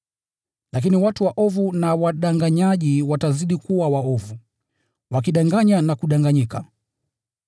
Lakini watu waovu na wadanganyaji watazidi kuwa waovu, wakidanganya na kudanganyika.